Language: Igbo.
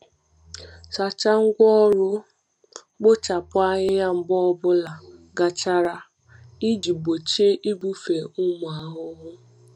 Sachaa ngwá ọrụ mkpochapụ ahịhịa mgbe ọ bụla gachara iji gbochie ibufe ụmụ ahụhụ.